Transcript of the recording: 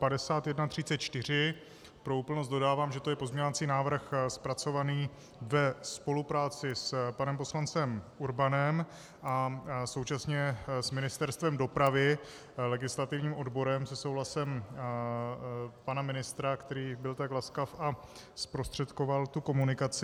Pro úplnost dodávám, že je to pozměňovací návrh zpracovaný ve spolupráci s panem poslancem Urbanem a současně s Ministerstvem dopravy, legislativním odborem, se souhlasem pana ministra, který byl tak laskav a zprostředkoval tu komunikaci.